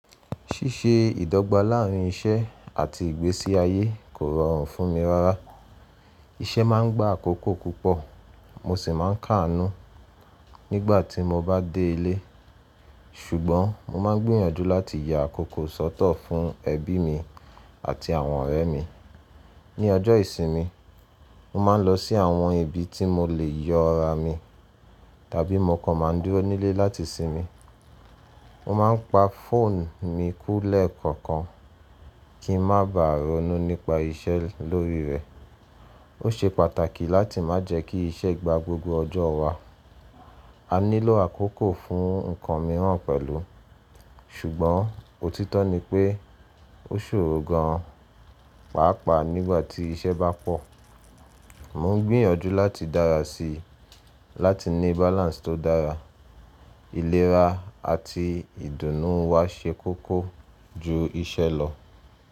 Ṣíṣe ìdọ́gba láàrín iṣẹ́ àti ìgbésí ayé kò rọrùn fún mi rárá. Iṣẹ́ má ń gba àkókò púpọ̀ mo sì máa ń kàánú nígbà tí mo bá dé ilé. Ṣùgbọ́n mo má ń gbìyànjú láti ya àkókò sọ́tọ̀ fún ẹbí mi àti àwọn ọ̀rẹ́ mi. Ni ọjọ́ ìsinmi, mo má ń lọ sí àwọn ibi tí mo lè yọ ara mi tàbí mo kàn má ń dúró nílé láti sinmi. Mo má ń pa fóònù mi kúlẹ̀ kọ̀ọ̀kan kí n má bàa ronú nípa iṣẹ́ lórí rẹ̀. Ó ṣe pàtàkì láti má jẹ́ kí iṣẹ́ gba gbogbo ọjọ́ wa. A nílò àkókò fún ǹkan mìíràn pẹ̀lú. Ṣùgbọ́n òtítọ́ ni pé ó ṣòro gan pàápàá nígbà tí iṣẹ́ bá pọ̀. Mo ń gbìyànjú láti dára sí i láti ní balance tó dára. Ìlera àti ìdùnnú wa ṣe kókó ju iṣẹ́ lọ.